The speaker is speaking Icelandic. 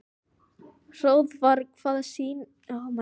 Hróðvar, hvaða sýningar eru í leikhúsinu á mánudaginn?